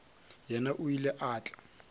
yena o ile a tla